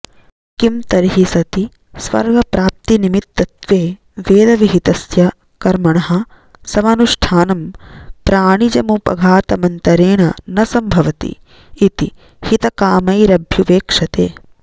किन्तर्हि सति स्वर्गप्राप्तिनिमित्तत्वे वेदविहितस्य कर्मणः समनुष्ठानं प्राणिजमुपघातमन्तरेण न सम्भवति इति हितकामैरभ्युपेक्ष्यते